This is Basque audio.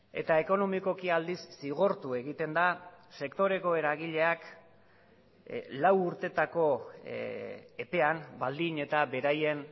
eta ekonomikoki aldiz zigortu egiten da sektoreko eragileak lau urtetako epean baldin eta beraien